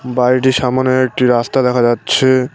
বাড়িটির সামোনে একটি রাস্তা দেখা যাচ্ছে।